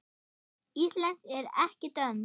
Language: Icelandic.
Íslensk en ekki dönsk.